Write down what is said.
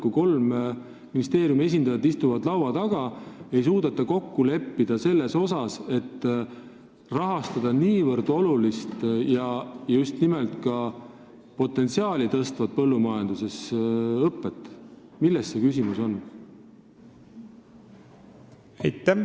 Kui kolme ministeeriumi esindajad istuvad laua taga, aga ei suudeta kokku leppida selles, kuidas rahastada niivõrd olulist ja just nimelt ka põllumajanduse potentsiaali suurendavat õpet, siis milles on küsimus?